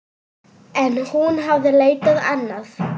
En hún hafði leitað annað.